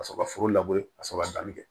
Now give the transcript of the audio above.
Ka sɔrɔ ka foro ka sɔrɔ ka danni kɛ